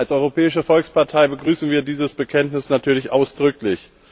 Als Europäische Volkspartei begrüßen wir dieses Bekenntnis natürlich ausdrücklich.